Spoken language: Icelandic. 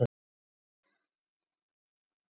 Hún er!